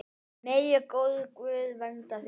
Megi góður Guð vernda þig.